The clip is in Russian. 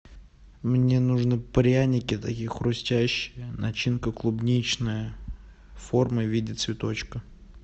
мне нужны пряники такие хрустящие начинка клубничная форма в виде цветочка